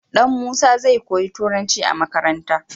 Dan musa zai koyi turanci a makaranta